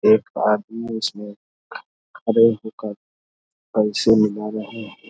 एक आदमी उसमें खड़े होकर पैसे मिला रहे ।